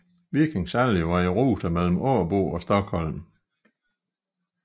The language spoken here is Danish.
Viking Sally var i rute mellem Åbo og Stockholm